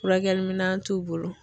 Furakɛliminɛn t'u bolo.